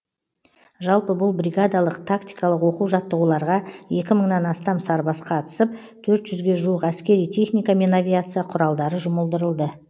жалпы бұл бригадалық тактикалық оқу жаттығуларға екі мыңнан астам сарбаз қатысып төрт жүзге жуық әскери техника мен авиация құралдары жұмылдырылды